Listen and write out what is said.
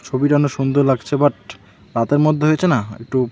ছবিটা অনেক সুন্দর লাগছে বাট রাতের মধ্যে হয়েছে না একটু --